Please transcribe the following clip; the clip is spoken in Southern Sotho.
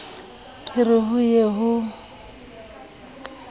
ke re ho ye ho